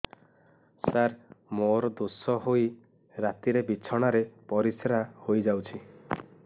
ସାର ମୋର ଦୋଷ ହୋଇ ରାତିରେ ବିଛଣାରେ ପରିସ୍ରା ହୋଇ ଯାଉଛି